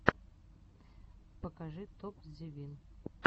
покажи топзевин